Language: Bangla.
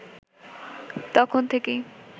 তখন থেকেই